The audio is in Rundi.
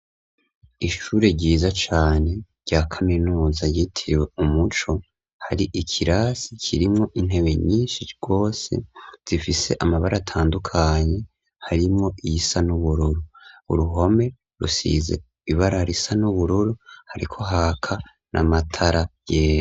Ishure ryiza cane rya kaminuza ryitiriwe umuco ,hari ikirasi kirimwo intebe nyinshi gose zifise amabara atandukanye harimwo iyisa n’ubururu ,uruhome rusize ibara risa n’ubururu, hariko haka n’amatara yera.